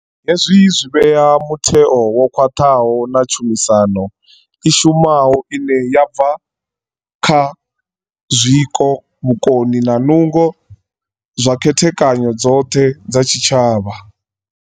Hezwi zwi vhea mutheo wo khwaṱhaho na tshumisano i shumaho ine ya bva kha zwiko, vhukoni na nungo zwa khethekanyo dzoṱhe dza tshi tshavha.